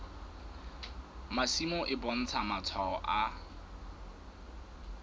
masimo e bontsha matshwao a